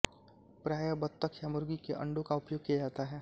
प्रायः बतख या मुर्गी के अण्डों का उपयोग किया जाता है